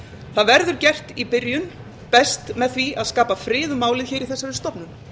það verður gert í byrjun best með því að skapa frið um málið í þessari stofnun